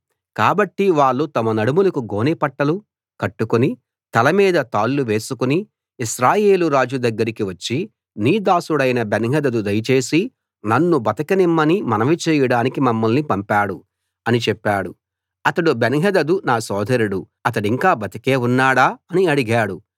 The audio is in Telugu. కాబట్టి వాళ్ళు తమ నడుములకు గోనెపట్టాలు కట్టుకుని తలమీద తాళ్ళు వేసుకుని ఇశ్రాయేలు రాజు దగ్గరికి వచ్చి నీ దాసుడైన బెన్హదదు దయచేసి నన్ను బతకనిమ్మని మనవి చేయడానికి మమ్మల్ని పంపాడు అని చెప్పారు అతడు బెన్హదదు నా సోదరుడు అతడింకా బతికే ఉన్నాడా అని అడిగాడు